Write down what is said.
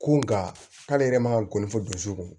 Ko nga k'ale yɛrɛ man kɔni fo dusukun